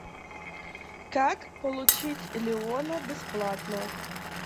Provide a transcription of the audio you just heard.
как получить леона бесплатно